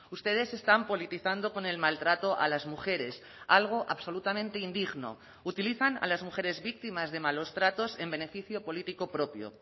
ustedes están politizando con el maltrato a las mujeres algo absolutamente indigno utilizan a las mujeres víctimas de malos tratos en beneficio político propio